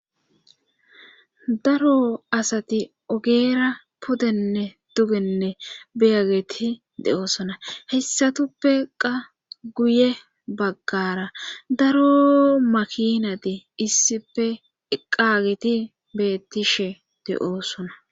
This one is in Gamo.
daro asati ogeera podenne dugenne beyageti de7oosona hessatuppeqa guye baggara daro makinati issife qaageti beettishe de7oosona